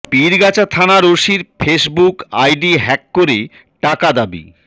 পীরগাছা থানার ওসির Facebook ID hack করে টাকা দাবী